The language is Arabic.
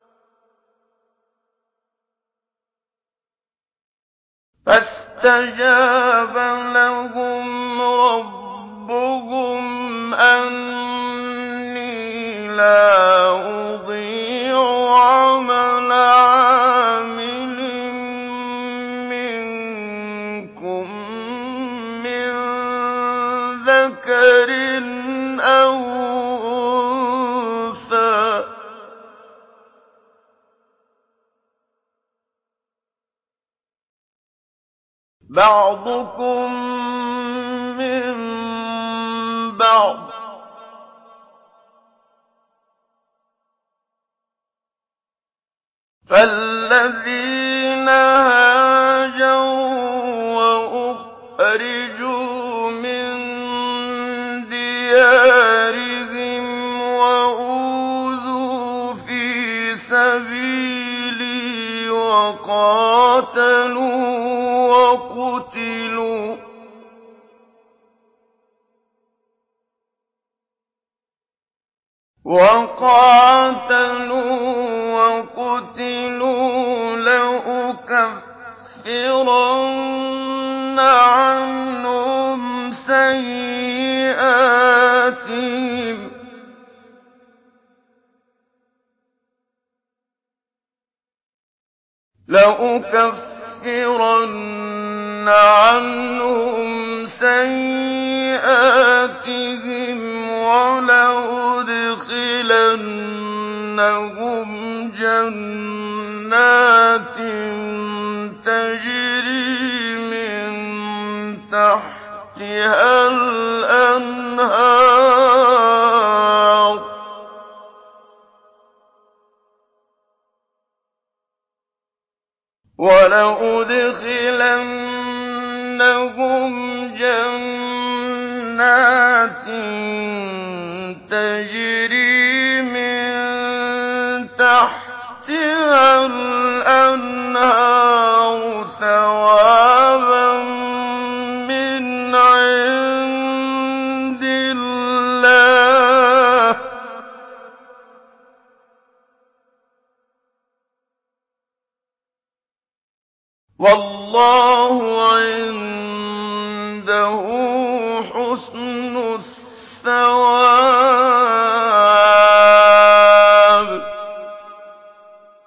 فَاسْتَجَابَ لَهُمْ رَبُّهُمْ أَنِّي لَا أُضِيعُ عَمَلَ عَامِلٍ مِّنكُم مِّن ذَكَرٍ أَوْ أُنثَىٰ ۖ بَعْضُكُم مِّن بَعْضٍ ۖ فَالَّذِينَ هَاجَرُوا وَأُخْرِجُوا مِن دِيَارِهِمْ وَأُوذُوا فِي سَبِيلِي وَقَاتَلُوا وَقُتِلُوا لَأُكَفِّرَنَّ عَنْهُمْ سَيِّئَاتِهِمْ وَلَأُدْخِلَنَّهُمْ جَنَّاتٍ تَجْرِي مِن تَحْتِهَا الْأَنْهَارُ ثَوَابًا مِّنْ عِندِ اللَّهِ ۗ وَاللَّهُ عِندَهُ حُسْنُ الثَّوَابِ